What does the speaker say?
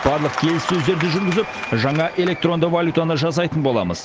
барлық келіссөздерді жүргізіп жаңа электронды валютаны жасайтын боламыз